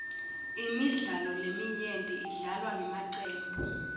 imidlalo leminyenti idlalwa ngemacembu